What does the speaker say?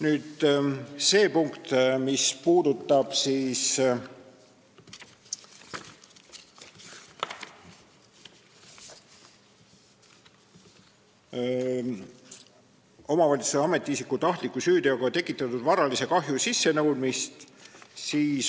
Nüüd see punkt, mis puudutab omavalitsuse ametiisiku tahtliku süüteoga tekitatud varalise kahju sissenõudmist.